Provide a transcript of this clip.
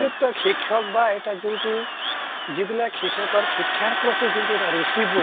যুক্ত শিক্ষক বা এটা যোনটো যিবিলাক শিক্ষ্কৰ শিক্ষাৰ প্ৰতি যোনটো এটা ৰুচিবোধ